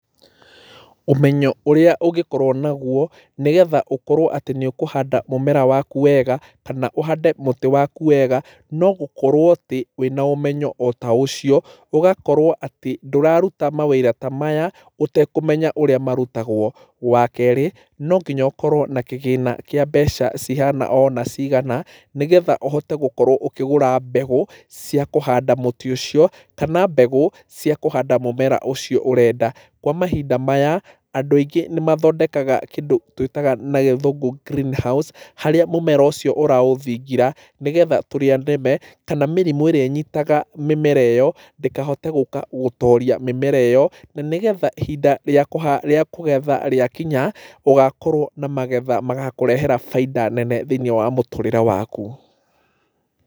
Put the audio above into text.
Ũmenyo ũrĩa ũngĩkorwo nagũo nĩgetha ũkorwo atĩ nĩũkũhanda mũmera waku wega kana ũhande mũtĩ waku wega, no gũkorwo atĩ wĩna ũmenyo ota ũcio ũgakorwo atĩ ndũraruta mawĩra ta maya ũtekũmenya ũrĩa marutagwo. Wakeerĩ, no nginya ũkorwo na kĩgĩna kĩa mbeca cihana ona cigana, nĩgetha ũhote gũkorwo ũkĩgũra mbegũ cia kũhanda mũtĩ ũcio kana mbegũ cia kũhanda mũmera ũcio ũrenda. Kwa mahinda maya andũ aingĩ nĩmathondekaga kĩndũ tũĩtaga na gĩthũngũ greenhouse harĩa mũmera ũcio ũraũthingira nĩgetha tũrĩa nĩme kana mĩrimũ ĩrĩa ĩnyitaga mĩmera ĩyo ndĩkahote gũka gũtoria mĩmera ĩyo, na nĩgetha ihinda rĩa kũgetha rĩakinya ũgakorwo na magetha magakũrehera bainda nene thĩiniĩ wa mũtũrĩre waku.